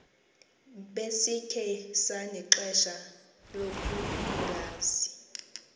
besikhe sanexesha lokungazi